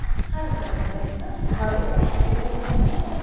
Har bir bo‘lakni voronka shaklida o‘raymiz.